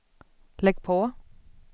lägg på